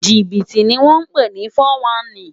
Jibiti ni wòn pé ni fòwánní